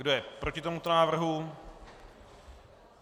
Kdo je proti tomuto návrhu?